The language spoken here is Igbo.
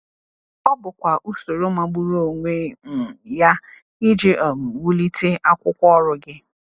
Ọ bụkwa usoro magburu onwe um ya iji um wulite akwụkwọ ọrụ gị!